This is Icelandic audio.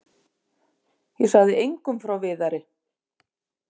Ég sagði engum frá Viðari.